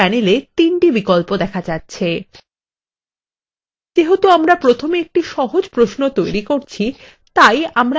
যেহেতু আমরা প্রথমে একটি সহজ প্রশ্ন তৈরি করছি তাই আমরা একটি সহজ এবং দ্রুত পদ্ধতি বেছে নেবো